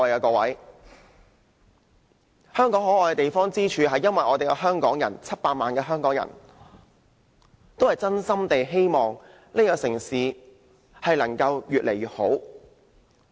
各位，香港可愛之處在於700萬香港人也是真心希望這個城市可以越來越好。